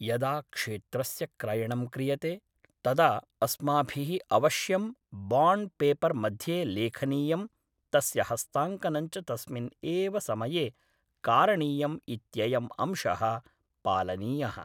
यदा क्षेत्रस्य क्रयणं क्रियते तदा अस्माभिः अवश्यं बाण्ड् पेपर् मध्ये लेखनीयं तस्य हस्ताङ्कनं च तस्मिन् एव समये कारणीयम् इत्ययम् अंशः पालनीयः